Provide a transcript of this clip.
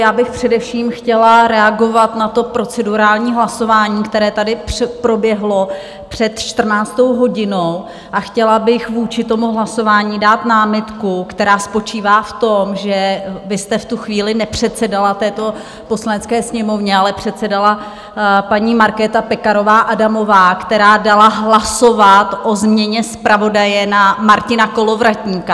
Já bych především chtěla reagovat na to procedurální hlasování, které tady proběhlo před 14. hodinou, a chtěla bych vůči tomu hlasování dát námitku, která spočívá v tom, že vy jste v tu chvíli nepředsedala této Poslanecké sněmovně, ale předsedala paní Markéta Pekarová Adamová, která dala hlasovat o změně zpravodaje na Martina Kolovratníka.